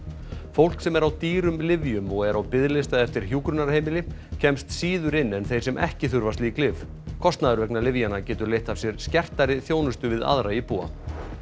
fólk sem er á dýrum lyfjum og er á biðlista eftir hjúkrunarheimili kemst síður inn en þeir sem ekki þurfa slík lyf kostnaður vegna lyfjanna getur leitt af sér skertari þjónustu við aðra íbúa